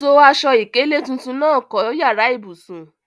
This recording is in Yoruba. So aṣọ ìkélé tuntun náà kọ́ yàrá ìbùsùn.